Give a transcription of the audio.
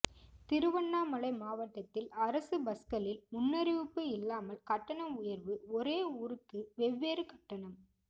திருவண்ணாமலை மாவட்டத்தில் அரசு பஸ்களில் முன்னறிவிப்பு இல்லாமல் கட்டண உயர்வு ஒரே ஊருக்கு வெவ்வேறு கட்டணம்